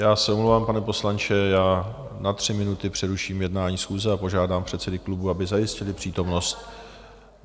Já se omlouvám, pane poslanče, já na tři minuty přeruším jednání schůze a požádám předsedy klubů, aby zajistili přítomnost...